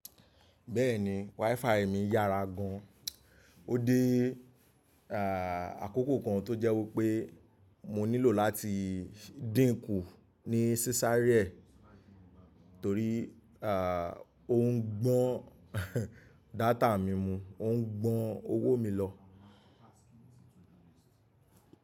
Bẹ́ẹ̀ni, WiFi mi yára gan. Ó dé àkókò kan tó jẹ́ wí pé mo nílò láti díinkù ní sísá rẹ̀ torí ò ń gbọ́n data mi mu, ó ń gbọ́n owó mi lọ.